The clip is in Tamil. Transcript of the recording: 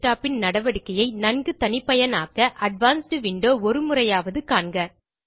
recordMyDesktopன் நடவடிக்கையை நன்கு தனிப்பயனாக்க அட்வான்ஸ்ட் விண்டோ ஒருமுறையாவது காண்க